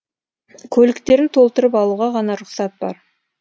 көліктерін толтырып алуға ғана рұқсат бар